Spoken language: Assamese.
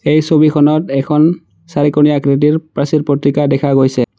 এই ছবিখনত এখন চাৰিকোণীয়া আকৃতিৰ প্ৰাচীৰ পত্ৰিকা দেখা গৈছে।